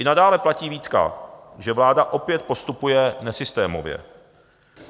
I nadále platí výtka, že vláda opět postupuje nesystémově.